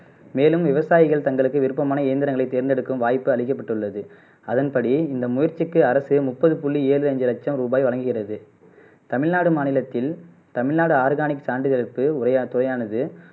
மேலும் விவசாயிகள் தங்களுக்கு விருப்பமான எந்திரந்தங்களை தேர்ந்தெடுக்கும் வாய்ப்பு அளிக்கப்பட்டுள்ளது அதன்படி இந்த முயற்சிக்கு அரசு முப்பது புள்ளி ஏழு அஞ்சு லச்சம் ரூபாய் வழங்குகிறது தமிழ்நாடு மாநிலத்தில் தமிழ்நாடு ஆர்கானிக் சான்றிதழுக்கு முறை முறையானது